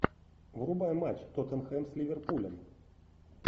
врубай матч тоттенхэм с ливерпулем